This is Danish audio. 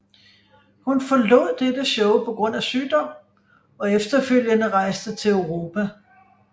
Hun forlod dette show på grund af sygdom og efterfølgende rejste til Europa